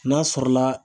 N'a sɔrɔla